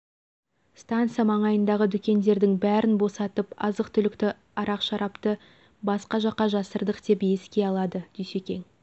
станса маңайындағы дүкендердің бәрін босатып азық түлікті ара-шарапты басқа жаққа жасырдық деп еске алады дүйсекең